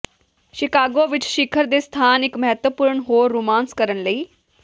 Chicago ਵਿੱਚ ਸਿਖਰ ਦੇ ਸਥਾਨ ਇੱਕ ਮਹੱਤਵਪੂਰਣ ਹੋਰ ਰੋਮਾਂਸ ਕਰਨ ਲਈ